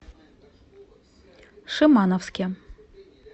шимановске